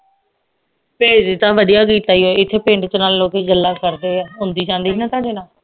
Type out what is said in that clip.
ਭੇਜ ਦੀ ਤਾਂ ਵਧੀਆ ਗਈ ਏ ਤੇ ਇਥੇ ਪਿੰਡ ਚ ਨਾਲੇ ਲੋਕੀ ਗੱਲਾਂ ਕਰਦੇ ਏ ਆਉਂਦੀ ਜਾਂਦੀ ਸੀ ਨਾ ਤੁਹਾਡੇ ਨਾਲ